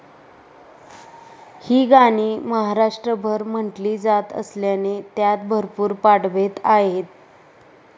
ही गाणी महाराष्ट्रभर म्हटली जात असल्याने त्यात भरपूर पाठभेद आहेत.